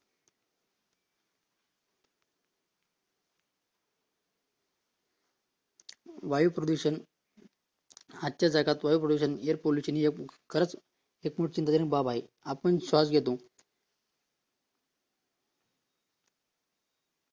वायु प्रदूषण आजच्या जगात वायू प्रदूषण एअर पॉल्युशन खरंच एक खूप चिंताजनक बाब आहे आपण श्वास घेतो